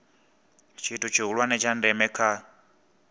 tshithu tshihulwane tsha ndeme kha